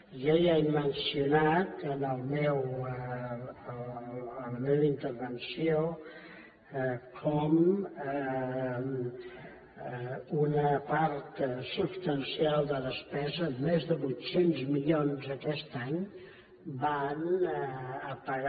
jo ja he mencionat en la meva intervenció com una part substancial de despesa més de vuit cents milions aquest any van a pagar